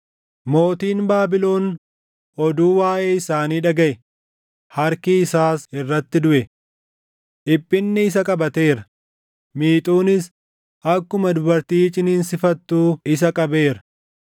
Mootiin Baabilon oduu waaʼee isaanii dhagaʼe; harki isaas irratti duʼe. Dhiphinni isa qabateera; miixuunis akkuma dubartii ciniinsifattuu isa qabeera.